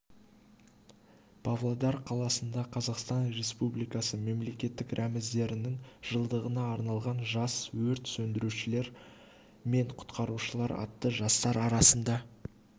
павлодар қаласында қазақстан республикасы мемлекеттік рәміздерінің жылдығына арналған жас өрт сөндірушілер мен құтқарушылар атты жастар арасында